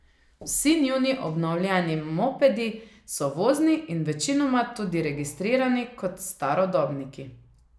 Vsi njuni obnovljeni mopedi so vozni in večinoma tudi registrirani kot starodobniki.